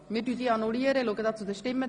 Wir annullieren diese Abstimmung.